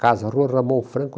Casa Rua Ramon Franco,